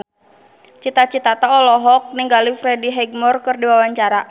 Cita Citata olohok ningali Freddie Highmore keur diwawancara